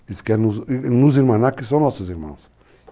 Eles querem nos enmanar, que são nossos irmãos.